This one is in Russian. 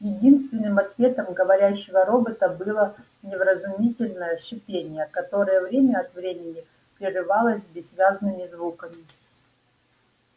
единственным ответом говорящего робота было невразумительное шипение которое время от времени прерывалось бессвязными звуками